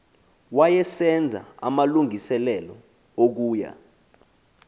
wayesenza amalungiselelo okuya